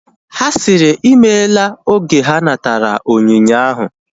Ha sịrị ịmela oge ha natara onyinye ahu